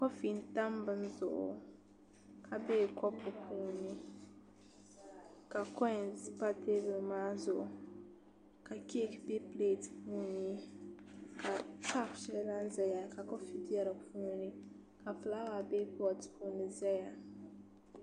Kofi n tam bin zuɣu ka bɛ kopu puuni ka koins pa teebuli maa zuɣu ka keek bɛ pileet shɛli puuni ka kaap lahi ʒɛya ka kofi bɛ di puuni ka fulaawa bɛ poot puuni ʒɛya